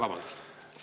Aitäh!